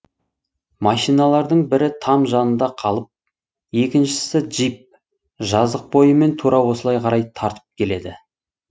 машиналардың бірі там жанында қалып екіншісі джип жазық бойымен тура осылай қарай тартып келеді